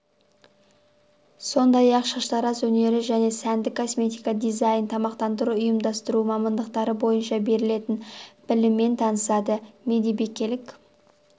сондай-ақ шаштараз өнері және сәндік косметика дизайн тамақтандыруды ұйымдастыру мамандықтары бойынша берілетін біліммен танысады медбикелік